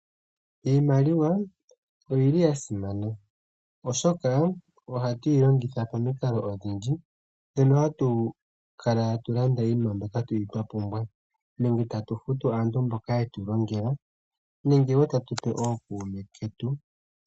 Iimaliwa oya simana, oshoka ohatu yi longitha pamikalo odhindji. Ohatu yi longitha mokulanda iipumbiwa yetu, tatu futu aantu mboka ye tu longela, tse tatu pe ookuume ketu.